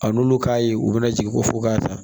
A n'olu k'a ye u bɛna jigin ko fo k'a ta